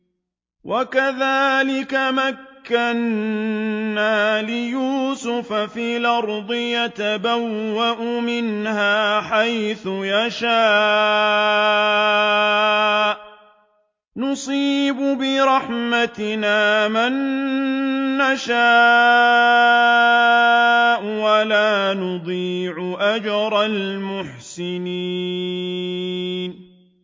وَكَذَٰلِكَ مَكَّنَّا لِيُوسُفَ فِي الْأَرْضِ يَتَبَوَّأُ مِنْهَا حَيْثُ يَشَاءُ ۚ نُصِيبُ بِرَحْمَتِنَا مَن نَّشَاءُ ۖ وَلَا نُضِيعُ أَجْرَ الْمُحْسِنِينَ